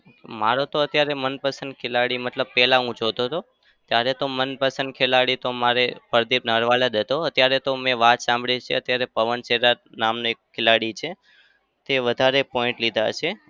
મારો તો અત્યારે મનપસંદ ખેલાડી મતલબ પેલા હું જોતો હતો ત્યારે તો મનપસંદ ખેલાડી તો મારે પ્રદીપ નરવાલ જ હતો. અત્યારે તો મેં વાત સાંભળી છે પવન સેહ્રવાત નામનો એક ખેલાડી છે તે વધારે point લીધા છે.